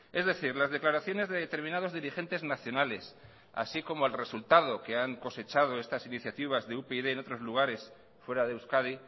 es decir las declaraciones de determinados dirigentes nacionales así como el resultado que han cosechado estas iniciativas de upyd en otros lugares fuera de euskadi